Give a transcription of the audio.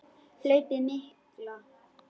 Hlaupið mikla